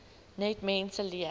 net mense leer